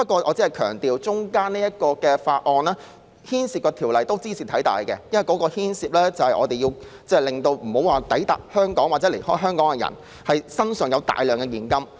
我只是強調，這次審議的附屬法例中，有一項茲事體大，因為牽涉防止抵港或離港的人攜帶大量現金。